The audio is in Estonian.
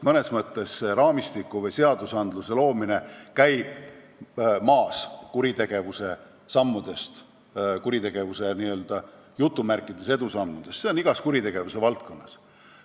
See raamistiku või seaduste loomine jääb mõnes mõttes maha kuritegevuse "edusammudest", see on nii igas kuritegevuse valdkonnas.